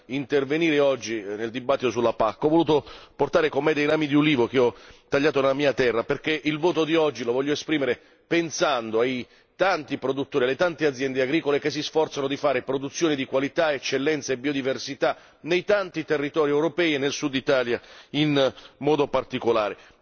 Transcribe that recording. Nell'intervenire oggi nella discussione sulla PAC, ho voluto portare con me dei rami di ulivo che ho tagliato nella mia terra, perché il voto di oggi lo voglio esprimere pensando ai tanti produttori e alle tante aziende agricole che si sforzano di realizzare produzioni di qualità, eccellenze e biodiversità nei molteplici territori europei e nel Sud Italia, in modo particolare.